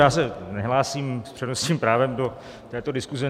Já se nehlásím s přednostním právem do této diskuze.